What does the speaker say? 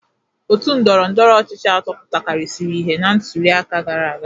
Òtù ndọrọ ndọrọ ọchịchị atọ pụtakarịsịrị ihe na ntụliaka gara aga.